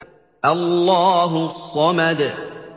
اللَّهُ الصَّمَدُ